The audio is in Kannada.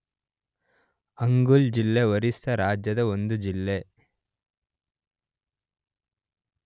ಅಂಗುಲ್ ಜಿಲ್ಲೆ ಒರಿಸ್ಸಾ ರಾಜ್ಯದ ಒಂದು ಜಿಲ್ಲೆ.